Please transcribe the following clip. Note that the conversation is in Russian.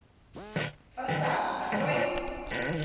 форсаж открой